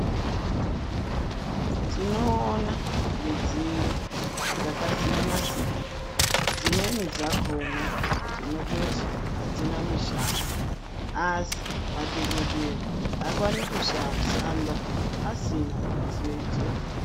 Tinoona midziyo dzakasiyana siyana dzimweni dzakona tinototi adzina mishando asi madhokodheya aaokni kushanda asina midziyo idzodzo.